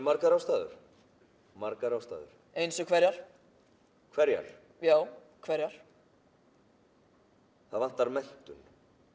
margar ástæður margar ástæður eins og hverjar hverjar já hverjar það vantar menntun